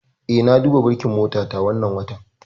Eh, na duba burkin motata wannan watan.